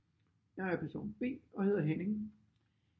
Jeg er person B og hedder Henning